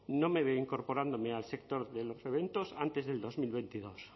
no me veo incorporándome al sector de los eventos antes del dos mil veintidós